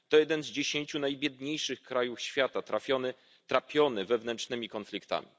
To jeden z dziesięciu najbiedniejszych krajów świata, trapiony wewnętrznymi konfliktami.